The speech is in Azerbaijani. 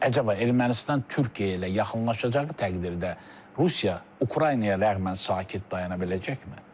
Əcaba Ermənistan Türkiyə ilə yaxınlaşacağı təqdirdə Rusiya Ukraynaya rəhmən sakit dayana biləcəkmi?